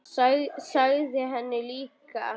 Sagði henni það líka.